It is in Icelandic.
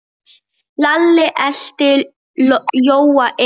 Lalli elti Jóa inn.